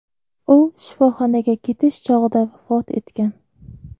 U shifoxonaga ketish chog‘ida vafot etgan.